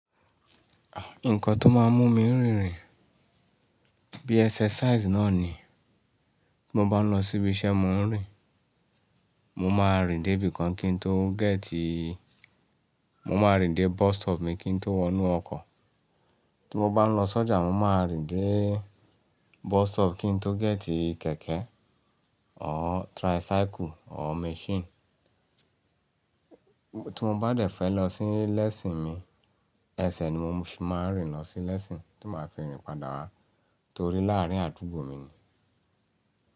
Nǹkan tó máa ń mú mi rìn rìn bí exercise náà ni. Tí mo bá ń lọ síbi iṣẹ́, mo ń rìn. Mo máa rìn dé ibìkan kí n tó gẹ́tìì. Mo máa rìn dé bus stop mi kí n tó wọnú ọkọ̀. Tí mo bá ń lọ sọ́jà, mo máa rìn dé bus stop kí n tó gẹ́tìì kẹ̀kẹ́ ọ́ tricycle ọ́ machine. Tí mo bá dẹ̀ fẹ́ lọ sí lẹ́síìn mi, ẹsẹ̀ ni mo fi máa ń rìn lọ sí lẹ́síìn tí màá fi rìn padà wá torí láàárín àdúgbò mi ni.